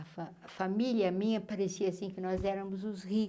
A fa família minha parecia assim que nós éramos os